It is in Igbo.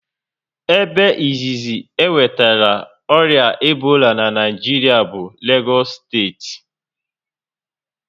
Ebe izizi e nwetara ọrịa Ebola na Naịjiria bụ na Legos steeti